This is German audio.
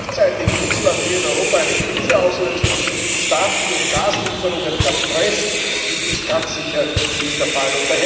Wenn gleichzeitig Russland hier in Europa eine Krise auslöst und Staaten durch Gaslieferungen erpresst, ist das ganz sicher nicht der Fall.